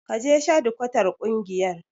Ki je shadikwatar ƙungiyar.